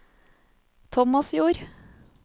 Tomasjord